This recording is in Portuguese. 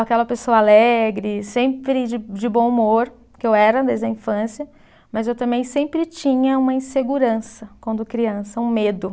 Aquela pessoa alegre, sempre de de bom humor, que eu era desde a infância, mas eu também sempre tinha uma insegurança quando criança, um medo.